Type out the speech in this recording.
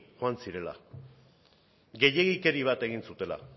joan zirela gehiegikeria bat egin zutela